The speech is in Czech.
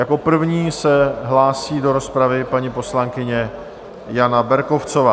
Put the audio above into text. Jako první se hlásí do rozpravy paní poslankyně Jana Berkovcová.